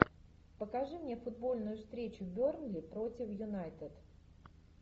покажи мне футбольную встречу бернли против юнайтед